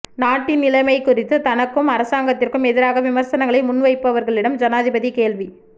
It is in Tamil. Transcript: நாட்டின் நிலைமை குறித்து தனக்கும் அரசாங்கத்திற்கும் எதிராக விமர்சனங்களை முன்வைப்பவர்களிடம் ஜனாதிபதி கேள்வி